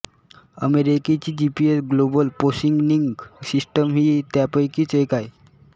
अमेरिकेची GPS global positioning system ही त्यापैकीच एक आहे